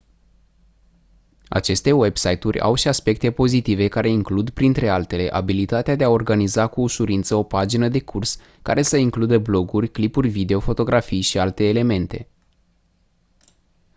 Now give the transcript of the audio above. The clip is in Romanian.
aceste website-uri au și aspecte pozitive care includ printre altele abilitatea de a organiza cu ușurință o pagină de curs care să includă bloguri clipuri video fotografii și alte elemente